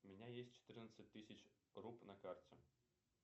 у меня есть четырнадцать тысяч руб на карте